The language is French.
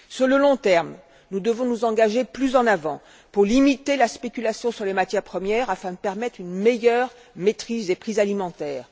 Sur le long terme, nous devons nous engager plus avant pour limiter la spéculation sur les matières premières afin de permettre une meilleure maîtrise des prix alimentaires.